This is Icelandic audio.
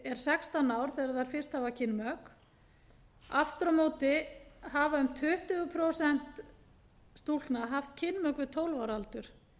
er sextán ár þegar þær hafa fyrst kynmök aftur á móti hafa um tuttugu prósent stúlkna haft kynmök við tólf ára aldur